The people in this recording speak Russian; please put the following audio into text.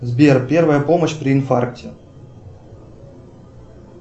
сбер первая помощь при инфаркте